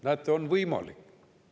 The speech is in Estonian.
" Näete, see on võimalik.